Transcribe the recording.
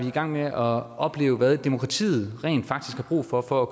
i gang med at opleve hvad demokratiet rent faktisk har brug for for at